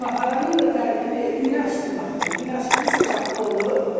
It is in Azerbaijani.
Maxaranın da tərkibi günəşdi məxdır, günəş kimi saçaqlı olur.